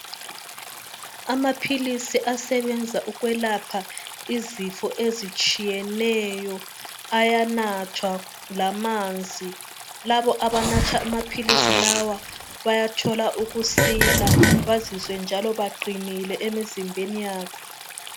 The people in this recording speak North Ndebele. Amaphilisi asebenza ukwelapha izifo ezitshiyeneyo ayanathwa lamanzi. Labo abanatha amaphilisi lawa bayathola ukusila bazizwe njalo beqinile emizimbeni yabo.